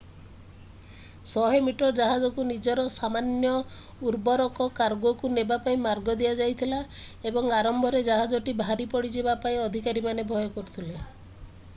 100-ମିଟର ଜାହାଜକୁ ନିଜର ସାମାନ୍ୟ ଉର୍ବରକ କାର୍ଗୋ କୁ ନେବା ପାଇଁ ମାର୍ଗ ଦିଆଯାଇଥିଲା ଏବଂ ଆରମ୍ଭରେ ଜାହାଜଟି ଭାରି ପଡିଯିବା ପାଇଁ ଅଧିକାରୀମାନେ ଭୟ କରୁଥିଲେ